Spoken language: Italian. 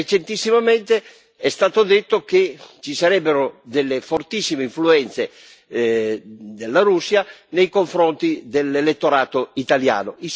Recentissimamente è stato detto che ci sarebbero delle fortissime influenze della Russia nei confronti dell'elettorato italiano.